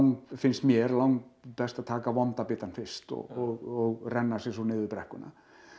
finnst mér langbest að taka vonda bitann fyrst og renna sér svo niður brekkuna